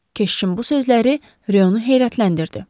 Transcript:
Keşişin bu sözləri Reonu heyrətləndirdi.